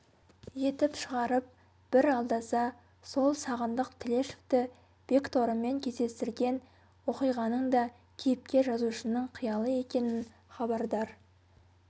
етіп шығарып бір алдаса сол сағындық тілешевті бекторымен кездестірген оқиғаның да кейіпкер-жазушының қиялы екенінен хабардар